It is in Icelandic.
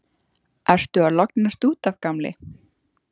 Ertu að lognast út af, gamli?